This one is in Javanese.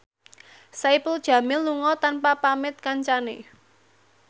Saipul Jamil lunga tanpa pamit kancane